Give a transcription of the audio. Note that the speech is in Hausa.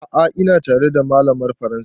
A'a ina tare da malamar faransa